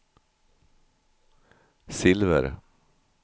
silver